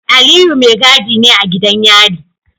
Aliyu mai gadi ne a gidan yari.